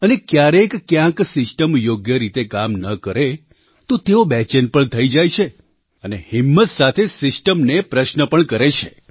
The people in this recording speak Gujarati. અને ક્યારેક ક્યાંય સિસ્ટમ યોગ્ય રીતે કામ ન કરે તો તેઓ બેચેન પણ થઈ જાય છે અને હિંમત સાથે સિસ્ટમને પ્રશ્ન પણ કરે છે